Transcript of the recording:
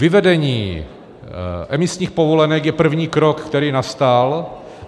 Vyvedení emisních povolenek je první krok, který nastal.